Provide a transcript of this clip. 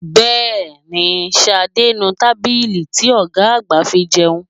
Bẹ́ẹ̀ni, Ṣadé ń nu tábìlì ti ọ̀gá àgbà fi jẹun